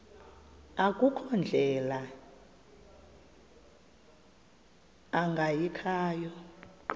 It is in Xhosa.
akukho ndlela ingayikhaya